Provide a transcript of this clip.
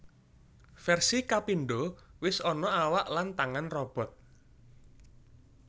Versi kapindo wis ana awak lan tangan robot